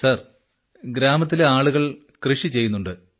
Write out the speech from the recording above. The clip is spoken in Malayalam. സാർ ഗ്രാമത്തിലെ ആളുകൾ കൃഷി ചെയ്യുന്നുണ്ട്